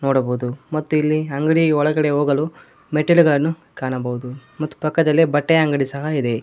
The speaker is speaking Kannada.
ನೋಡಬಹುದು ಮತ್ತು ಇಲ್ಲಿ ಅಂಗಡಿ ಒಳಗಡೆ ಹೋಗಲು ಮೆಟ್ಟಿಲುಗಳನ್ನು ಕಾಣಬಹುದು ಮತ್ತು ಪಕ್ಕದಲ್ಲೇ ಬಟ್ಟೆಯ ಅಂಗಡಿ ಸಹ ಇದೆ.